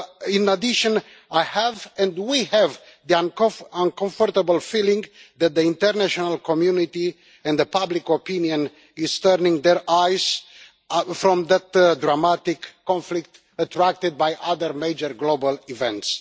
In addition, I have and we have the uncomfortable feeling that the international community and public opinion are turning their eyes from that dramatic conflict, attracted by other major global events.